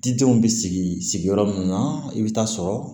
Didenw bɛ sigi sigiyɔrɔ mun na i bɛ taa sɔrɔ